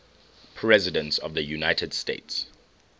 presidents of the united states